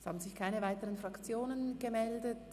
Es haben sich keine weiteren Fraktionen gemeldet.